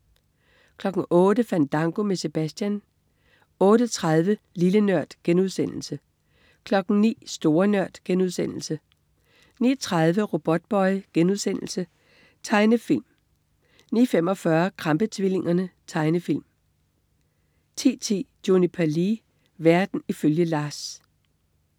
08.00 Fandango med Sebastian 08.30 Lille Nørd* 09.00 Store Nørd* 09.30 Robotboy.* Tegnefilm 09.45 Krampe-tvillingerne. Tegnefilm 10.10 Juniper Lee. Verden ifølge LARS